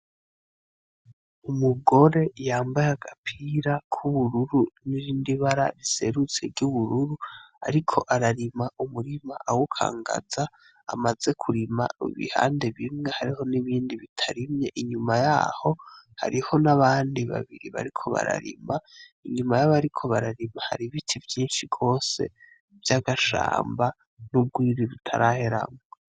Umugore yambaye agapira k'ubururu n'irindi bara riserutse ry'ubururu, ariko ararima umurima awukangaza, amaze kurima ibihande bimwe hariho n'ibindi bitarimye, inyuma yaho hariho n'abandi babiri bariko bararima inyuma yabariko bararima hari Ibiti vyinshi gose vyagashamba nubwo bitaraheramwo.